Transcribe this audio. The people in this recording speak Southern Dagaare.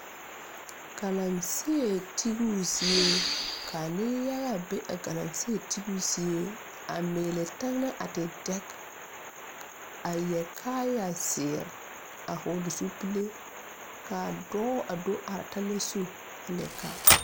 Galaŋsee tiibo zie ka neŋ yaga be a Galaŋsee tiibo zie a meelɛ tɛnɛɛ a ti dɛg a yɛre kaayɛ zeere a hɔɔle zupile kaa dɔɔ a do are tɛne zu a leɛ kaa.